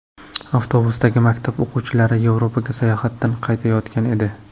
Avtobusdagi maktab o‘quvchilari Yevropaga sayohatdan qaytayotgan edi.